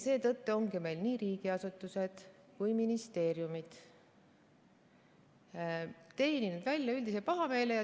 Seetõttu ongi meie riigiasutused või ka ministeeriumid teeninud välja üldise pahameele.